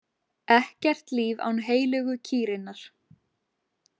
Ekkert líf án heilögu kýrinnar.